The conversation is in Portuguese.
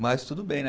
Mas tudo bem, né?